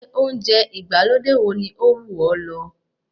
Ilé oúnjẹ ìgbàlódé wo ni ó wù ọ́ lọ?